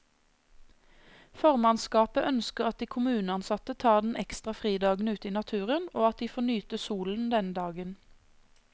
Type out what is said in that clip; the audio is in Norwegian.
Formannskapet ønsker at de kommuneansatte tar den ekstra fridagen ute i naturen, og at de får nyte solen denne dagen.